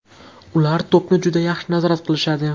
Ular to‘pni juda yaxshi nazorat qilishadi.